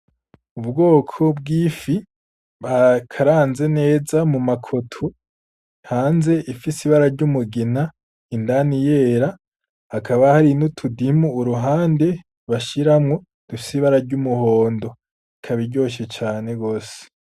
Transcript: Ubwoko bw'ifi bakaranze neza mu makoto hanze afise ibara ry'umugina indani yera, hakaba hari n'utudimu ku ruhande bashiramwo dufise ibara ry'umuhondo ikaba iryoshe cane gose.